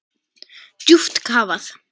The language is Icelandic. Djúpt kafað.